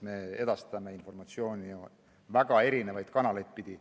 Me edastame informatsiooni väga erinevaid kanaleid pidi.